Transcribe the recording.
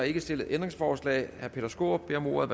ikke stillet ændringsforslag herre peter skaarup beder om ordet